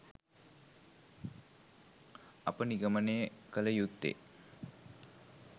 අප නිගමනය කළ යුත්තේ